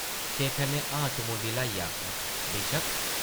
शेखर नै ‘हां’ च मुंडी ल्हाइयै आखेआ, ‘‘बेशक्क ।’’